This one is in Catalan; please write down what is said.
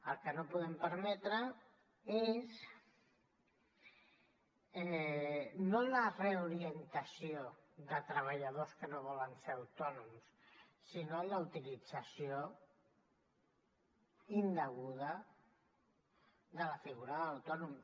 el que no podem permetre és no la reorientació de treballadors que no volen ser autònoms sinó la utilització indeguda de la figura de l’autònom